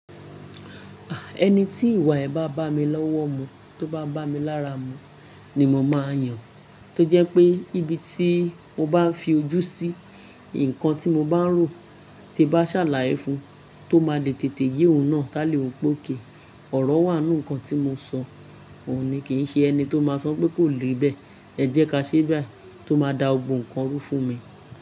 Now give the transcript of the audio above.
Ẹni tí ìwà ẹ́ bá bá mi lọ́wọ́ mu, tó bá bá mi lára mu, ni mo máa yàn. Tó jẹ́ pé níbi tí mo bá fi ojú sí, nǹkan tí mo bá rò, tí n bá ṣàlàyé fun, tó máa le tètè yé òun náà. Tá lè wí pé okay, ọ̀rọ̀ wà nínú nǹkan tí mo sọ, òhun ní kì í ṣe ẹni tó máa sọ pé kò lè bẹ́ẹ̀. Ẹ jẹ́ ká ṣe báyìí, tó máa da gbogbo ǹkan rú fún mi.